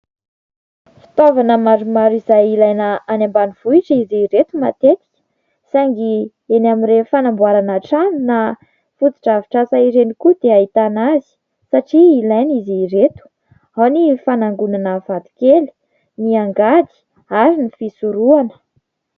Fitaovana maromaro izay ilaina any ambanivohitra izy ireto matetika saingy eny amin'ireny fanamboarana trano na fotodrafitrasa ireny koa dia ahitana azy satria ilaina izy ireto, ao ny fanangonana vato kely, ny angady ary ny fisorohana.